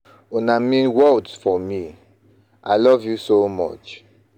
Una mean world for me, i love you so much.